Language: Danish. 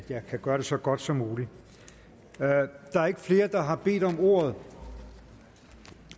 jeg kan gøre det så godt som muligt der er ikke flere der har bedt om ordet